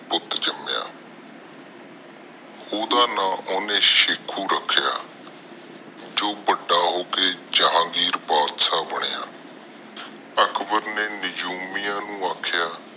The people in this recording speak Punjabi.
ਜਿਸਦਾ ਨਾਮ ਓਹਨਾ ਸ਼ੱਕੂ ਰਖਿਆ ਜੋ ਵਾਡਾ ਹੋ ਕੇ ਜਹਾਂਗੀਰ ਬਾਦਸ਼ਾਹ ਬਣਿਆ ਅਕਬਰ ਨੇ ਨਿਜੂਮੀਆਂ ਨੂੰ ਅਖੜੀਆਂ